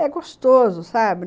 É gostoso, sabe?